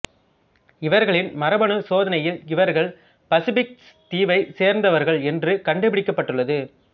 இவர்களின் மரபணு சோதனையில் இவர்கள் பசிபிக் தீவைச் சேர்ந்தவர்கள் என்று கண்டுபிடிக்கப்பட்டுள்ளது